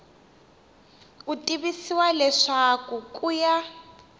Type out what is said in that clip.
u tivisiwa leswaku ku ya